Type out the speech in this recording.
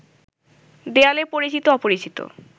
দেয়ালে পরিচিত-অপরিচিত